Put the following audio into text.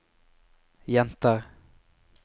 jenter